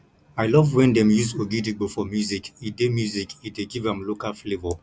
i love wen dem use ogidigbo for music e dey music e dey give am local flavour